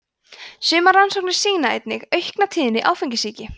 sumar rannsóknir sýna einnig aukna tíðni áfengissýki